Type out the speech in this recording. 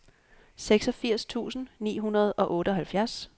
seksogfirs tusind ni hundrede og otteoghalvfjerds